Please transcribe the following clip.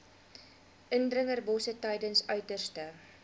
indringerbosse tydens uiterste